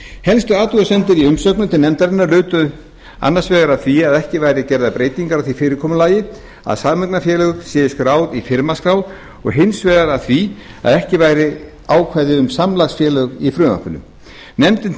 helstu athugasemdir í umsögnum til nefndarinnar lutu annars vegar að því að ekki væru gerðar breytingar á því fyrirkomulagi að sameignarfélög séu skráð í firmaskrá og hins vegar að því að ekki væru ákvæði um samlagsfélög í frumvarpinu nefndin